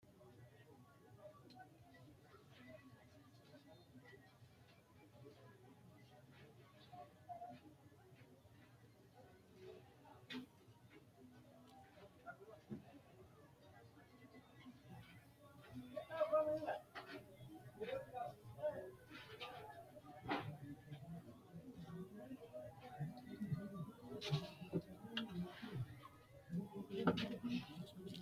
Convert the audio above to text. Rosiishsha Lame Niwaawete garinni aante noo xa’mubbara gari dawaro dooratenni Itophi- malaatu afiinni qolle Rosiishsha Lame Niwaawete garinni aante noo.